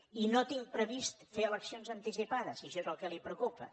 i no tinc previst fer eleccions anticipades si això és el que el preocupa